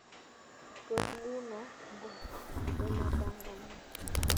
Tos nguno ngo nemapanganat